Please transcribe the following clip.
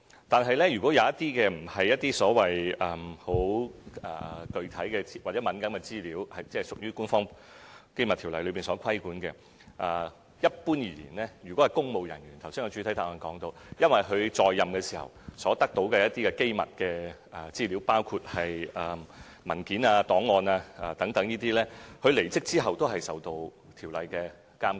但如果那些並非該條例規管的具體或敏感資料，一般而言，正如我剛才在主體答覆提到，如果關乎公務人員，他在任時所得到的一些機密資料，包括文件、檔案等，在他離職後，都會受到該條例的監管。